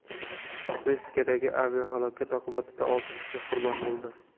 Meksikadagi aviahalokat oqibatida olti kishi qurbon bo‘ldi.